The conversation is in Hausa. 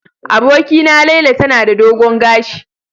Abokina Laila tana da dogon gashi.